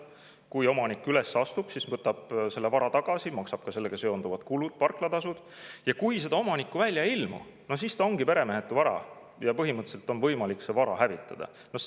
Kui omanik üles astub, siis ta võtab selle vara tagasi, maksab ka sellega seonduvad kulud, parklatasud, aga kui omanikku välja ei ilmu, siis see ongi peremehetu vara ja põhimõtteliselt on võimalik see vara hävitada.